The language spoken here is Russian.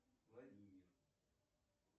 владимир